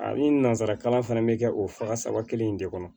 A ni nanzarakalan fana bɛ kɛ o faga saba kelen in de kɔnɔ